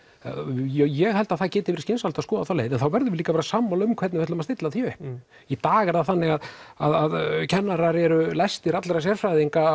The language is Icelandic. ég held að það geti verið skynsamlegt að skoða þá leið en þá verðum við líka að vera sammála um hvernig við ætlum að stilla því upp í dag er það þannig að kennarar eru lægstir alla sérfræðinga